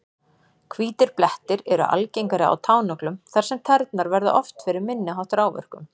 Hvítir blettir eru algengari á tánöglum þar sem tærnar verða oftar fyrir minni háttar áverkum.